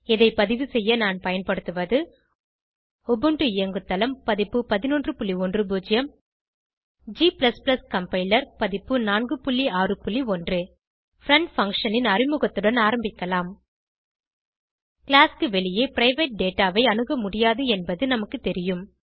இதை பதிவுசெய்ய நான் பயன்படுத்துவது உபுண்டு இயங்குதளம் பதிப்பு 1110 g கம்பைலர் பதிப்பு 461 பிரெண்ட் பங்ஷன் ன் அறிமுகத்துடன் ஆரம்பிக்கலாம் கிளாஸ் க்கு வெளியே பிரைவேட் டேட்டா ஐ அணுகமுடியாது என்பது நமக்கு தெரியும்